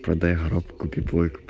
продаю коробку